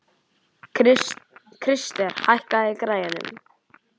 Krister, hækkaðu í græjunum.